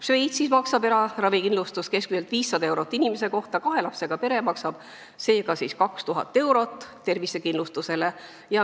Šveitsis maksab eraravikindlustus keskmiselt 500 eurot inimese kohta, kahe lapsega pere maksab seega 2000 eurot tervisekindlustusele.